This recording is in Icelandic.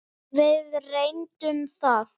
Við reyndum það.